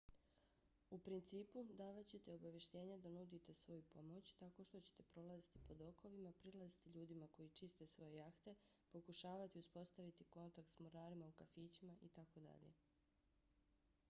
u principu davat ćete obavještenja da nudite svoju pomoć tako što ćete prolaziti po dokovima prilaziti ljudima koji čiste svoje jahte pokušavati uspostaviti kontakt s mornarima u kafićima itd